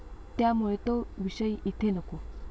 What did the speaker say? त्यामुळे तो विषय इथे नको.